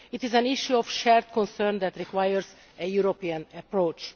It is an issue of shared concern that requires a European approach.